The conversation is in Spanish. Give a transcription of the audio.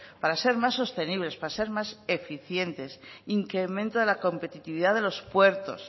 para ser más sostenibles para ser más eficientes incremento de la competitividad de los puertos